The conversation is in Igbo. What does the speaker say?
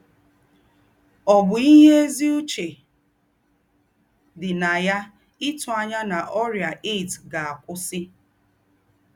Ọ̀ bú íhé èzí úché dí nà yá ítù ànyá nà órị́à AIDS gà-àkụ́wùsì?